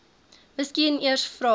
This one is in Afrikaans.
miskien eers vra